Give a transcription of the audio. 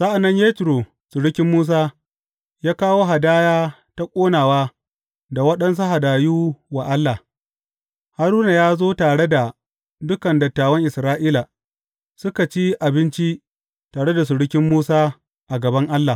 Sa’an nan Yetro surukin Musa, ya kawo hadaya ta ƙonawa da waɗansu hadayu wa Allah, Haruna ya zo tare da dukan dattawan Isra’ila, suka ci abinci tare da surukin Musa a gaban Allah.